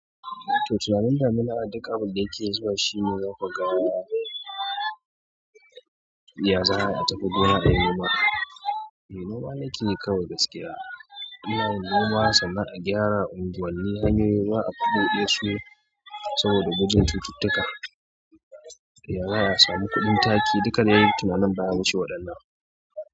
To, tunanin damina, a duk abin da yake zuwa shi ne zaka ga ya za'a yi a tafi gona ayi noma, eh noma nake yi kawai gaskiya. Anna yin noma sana'ar a gyara unguwanni, hanyoyin, ruwa a bubuɗe su saboda gugun cututtuka. Yazaa yi a samu kuɗin taki, duka dai tunanin baya wace waɗannan.